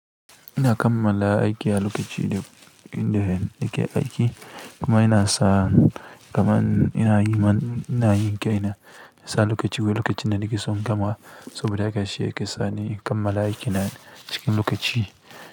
Ina kammala aiki a lokaci da inda nake aiki kuma ina sa kamar ina yi man ina yin kaina sa lokaci wai lokacin da nake son in gama saboda haka shi yake sa ni in kammala aikin nan cikin lokaci.